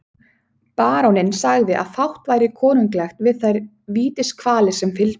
Baróninn sagði að fátt væri konunglegt við þær vítiskvalir sem fylgdu.